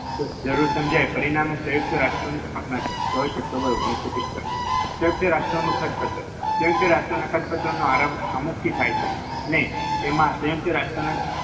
જરૂર સમજાય પરિણામે સંયુક્ત રાષ્ટ્રની સ્થાન થઈ ચોવીસ ઓક્ટોબર ઓગણીસો પિસ્તાળીસ સંયુક્ત રાષ્ટ્રોનું ખતપત્ર સંયુક્ત રાષ્ટ્રના ખતપત્રનો આરંભ અમુક થી થાય છે અને તેમાં સંયુક્ત રાષ્ટ્ર